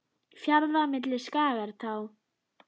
Fjarða milli skagar tá.